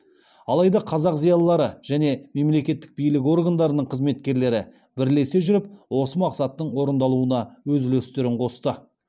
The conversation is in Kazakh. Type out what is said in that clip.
алайда қазақ зиялылары және мемлекеттік билік органдарының қызметкерлері бірлесе жүріп осы мақсаттың орындалуына өз үлестерін қосты